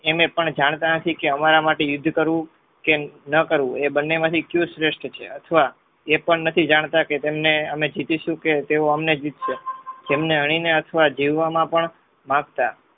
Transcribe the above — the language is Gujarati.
એમ પણ જાણતા નથી કે અમારા માંથી યુદ્ધ કરવું કે ન કરવું એ બંને માંથી કયું શ્રેષ્ઠ છે. અથવા એ પણ નથી જાણતા કે તમને અમે જીતીશું કે તેઓ અમને જીતશે જેમને હણીને અથવા જીવવામાં પણ માંગતા